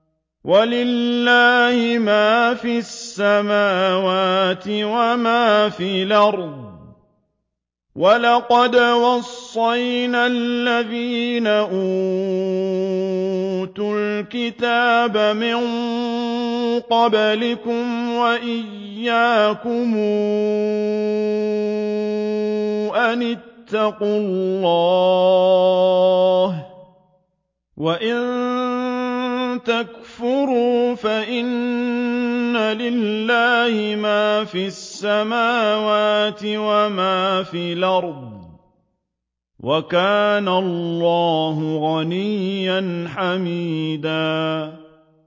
وَلِلَّهِ مَا فِي السَّمَاوَاتِ وَمَا فِي الْأَرْضِ ۗ وَلَقَدْ وَصَّيْنَا الَّذِينَ أُوتُوا الْكِتَابَ مِن قَبْلِكُمْ وَإِيَّاكُمْ أَنِ اتَّقُوا اللَّهَ ۚ وَإِن تَكْفُرُوا فَإِنَّ لِلَّهِ مَا فِي السَّمَاوَاتِ وَمَا فِي الْأَرْضِ ۚ وَكَانَ اللَّهُ غَنِيًّا حَمِيدًا